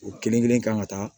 U kelen kelen kan ka taa